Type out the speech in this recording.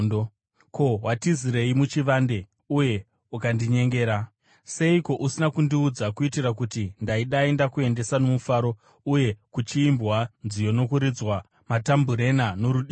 Ko, watizirei muchivande uye ukandinyengera? Seiko usina kundiudza, kuitira kuti ndaidai ndakuendesa nomufaro uye kuchiimbwa nziyo nokuridzwa matambureni norudimbwa?